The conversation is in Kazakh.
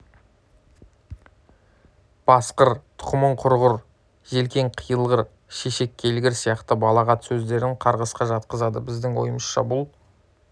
басқыр тұқымың құрғыр желкең қиылғыр шешек келгір сияқты балағат сөздерін қарғысқа жатқызады біздің ойымызша бұл